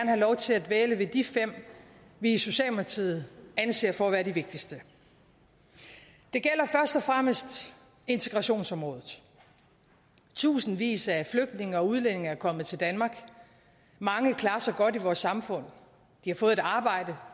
have lov til at dvæle ved de fem vi i socialdemokratiet anser for at være de vigtigste det gælder først og fremmest integrationsområdet tusindvis af flygtninge og udlændinge er kommet til danmark og mange klarer sig godt i vores samfund de har fået et arbejde